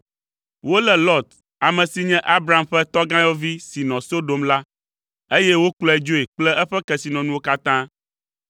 Wolé Lot, ame si nye Abram ƒe tɔgãyɔvi si nɔ Sodom la, eye wokplɔe dzoe kple eƒe kesinɔnuwo katã.